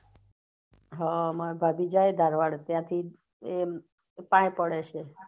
હા મારા ભાભી જાય ધારવાડ ત્યાં થી એ પાહે પડે છે